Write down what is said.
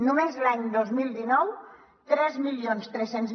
només l’any dos mil dinou tres mil tres cents